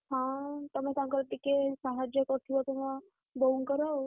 ହଁ ତମେ ତାଙ୍କର ଟିକେ ସାହାଯ୍ୟ କରୁଥିବ, ତମ ବୋଉଙ୍କର ଆଉ।